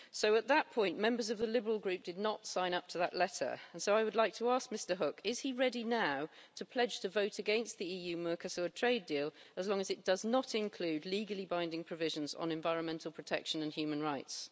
At that point, members of the Liberal Group did not sign up to that letter, and so I would like to ask Mr Hook is he ready now to pledge to vote against the EU-Mercosur trade deal as long as it does not include legally binding provisions on environmental protection and human rights?